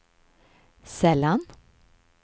sällan